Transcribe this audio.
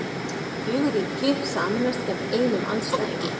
Fjögur ríki sameinast gegn einum andstæðingi